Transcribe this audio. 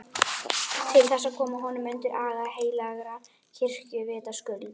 Til þess að koma honum undir aga heilagrar kirkju, vitaskuld!